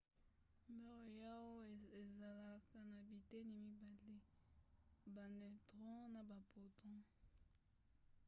noyau ezalaka na biteni mibale - baneutron na baproton